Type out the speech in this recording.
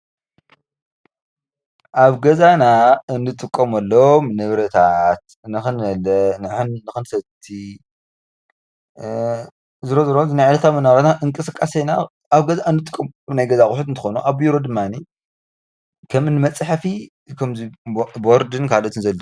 ኣብ ገዛና እንጥቀመሎም ንብረታት ነኽንበልዕ ፣ ንኽንሰቲ ዝሮዝሮ ናይ ዕለታዋ መነባብሮና እንቅስቃሴና ኣብ ገዛ እንጥቀመሎም ናይ ገዛ ኣቁሑት እንትኾኑ ኣብ ቢሮ ድማኒ ከምዚ መፅሐፍን ቦርድን